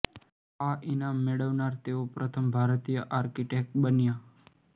આ ઈનામ મેળવનાર તેઓ પ્રથમ ભારતીય આર્ર્કીટેક્ટ બન્યા